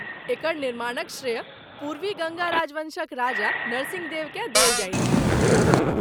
एकर निर्माणक श्रेय पूर्वी गङ्गा राजवँशक राजा नरसिंहदेव केँ देल जाइत छनि।